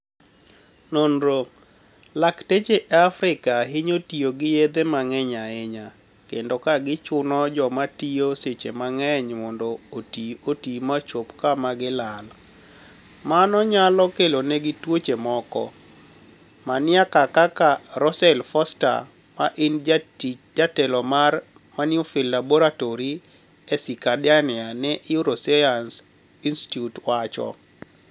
noniro: Lakteche e Afrika hiniyo tiyo gi yedhe manig'eniy ahiniya, kenido ka gichuno joma tiyo seche manig'eniy monido oti oti ma chop kama gilal, mano niyalo keloni egi tuoche moko, mania kaka Russell Foster, ma eni jatelo mar niuffield Laboratory e Circadiani ni euroscienice Inistitute wacho.